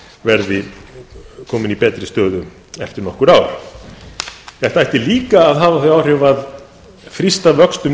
verði kominn í betri stöðu eftir nokkur ár þetta ætti líka að hafa þau áhrif að þrýsta vöxtum